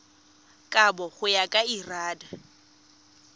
kabo go ya ka lrad